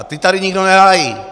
A ty tady nikdo nehájí.